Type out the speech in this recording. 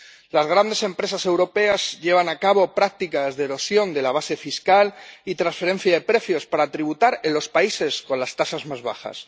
Las grandes empresas europeas llevan a cabo prácticas de erosión de la base fiscal y transferencia de precios para tributar en los países con las tasas más bajas.